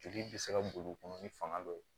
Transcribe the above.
Joli bɛ se ka boli u kɔnɔ ni fanga dɔ ye